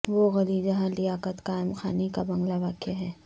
وہ گلی جہاں لیاقت قائم خانی کا بنگلہ واقع ہے